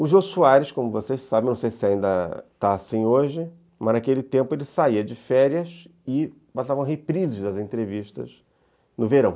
O Jô Soares, como vocês sabem, não sei se ainda está assim hoje, mas naquele tempo ele saía de férias e passavam reprises das entrevistas no verão.